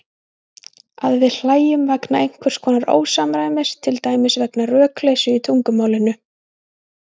Að við hlæjum vegna einhvers konar ósamræmis, til dæmis vegna rökleysu í tungumálinu.